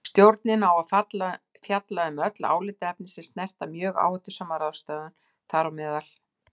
Stjórnin á að fjalla um öll álitaefni sem snerta mjög áhættusama ráðstöfun, þám.